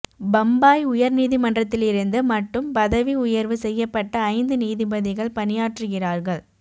பம்பாய் உயர் நீதிமன்றத்திலிருந்து மட்டும் பதவி உயர்வு செய்யப்பட்ட ஐந்து நீதிபதிகள் பணியாற்றுகிறார்கள்